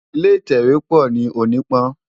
Ilé itèwé pò ni Onipan